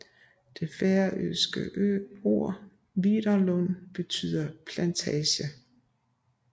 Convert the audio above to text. Det færøske ord viðarlund betyder plantage